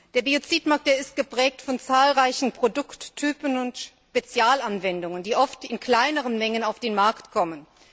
Der Biozidmarkt ist geprägt von zahlreichen Produkttypen und Spezialanwendungen, die oft in kleineren Mengen auf den Markt kommen.